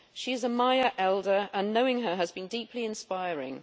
She is a Maya elder and knowing her has been deeply inspiring.